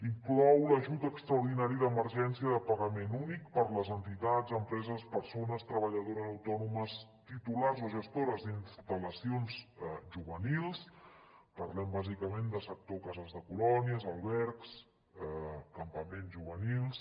inclou l’ajut extraordinari d’emergència de pagament únic per a les entitats empreses persones treballadores autònomes titulars o gestores d’instal·lacions juvenils parlem bàsicament de sector cases de colònies albergs campaments juvenils